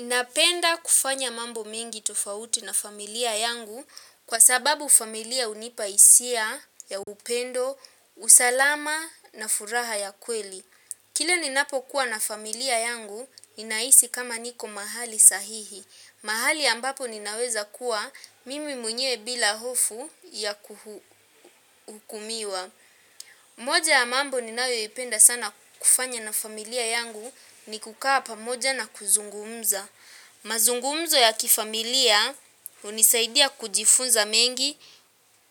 Napenda kufanya mambo mengi tofauti na familia yangu kwa sababu familia hunipa hisia ya upendo, usalama na furaha ya kweli. Kila ninapokuwa na familia yangu, ninahisi kama niko mahali sahihi. Mahali ambapo ninaweza kuwa, mimi mwenye bila hofu ya kuhukumiwa. Moja ya mambo ninayoipenda sana kufanya na familia yangu ni kukaa pamoja na kuzungumza. Mazungumzo ya kifamilia hunisaidia kujifunza mengi,